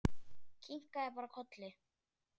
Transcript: Kinkaði bara kolli.